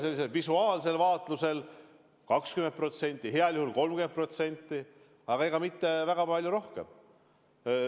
Sellisel visuaalsel vaatlusel võib pakkuda 20%, heal juhul 30%, aga mitte väga palju rohkem.